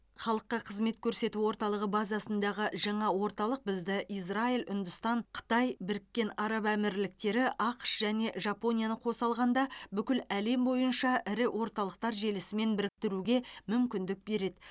халыққа қызмет көрсету орталығы базасындағы жаңа орталық бізді израиль үндістан қытай біріккен араб әмірліктері ақш және жапонияны қоса алғанда бүкіл әлем бойынша ірі орталықтар желісімен біріктіруге мүмкіндік береді